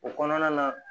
O kɔnɔna na